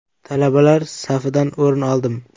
Talabalar safidan o‘rin oldim.